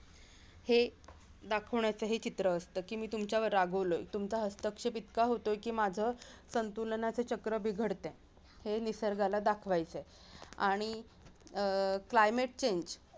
हे दाखवण्याचं हे चित्र असत की मी तुमच्यावर रागावलोय तुमचा हस्तक्षेप इतका होतोय की माझं संतुलनाचं चक्र बिघडतंय हे निसर्गाला दाखवायचंय आणि अह climate change